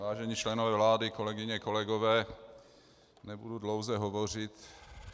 Vážení členové vlády, kolegyně, kolegové, nebudu dlouze hovořit.